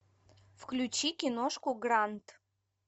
включи киношку грант